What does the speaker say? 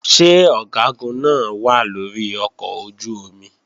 Ṣé Ọ̀gágun náà wà lórí ọkọ̀ ojú-omi?